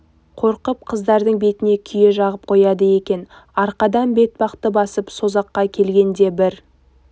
қорқып қыздарының бетіне күйе жағып қояды екен арқадан бетпақты басып созаққа келгенде бір